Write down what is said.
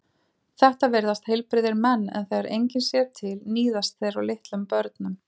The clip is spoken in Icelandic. Þetta virðast heilbrigðir menn en þegar enginn sér til níðast þeir á litlum börnum.